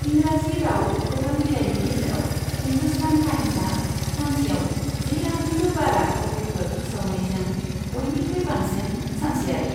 इंराजि राव खौरां बिलाइफोरनि गेजेराव, हिन्दुस्तान टाइम्सआ, सानसेयाव जि लाखनिबो बारा कपिफोर फोसावनायजों बयनिख्रुइ बांसिन सानसेयारि।